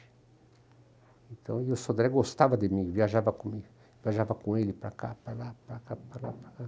Então, e o Sodré gostava de mim, viajava comigo, viajava com ele para cá, para lá, para cá, para lá, para cá.